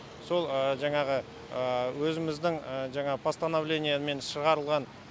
сол жаңағы өзіміздің жаңағы постановлениемен шығарылған